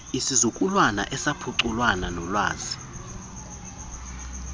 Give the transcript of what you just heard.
isizukulwana esaphuncukana noolwazi